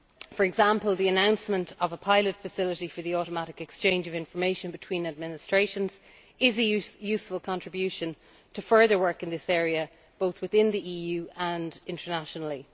For example, the announcement of a pilot facility for the automatic exchange of information between administrations is a useful contribution to further work in this area both within the EU and internationally.